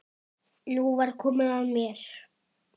Nú var komið að mér.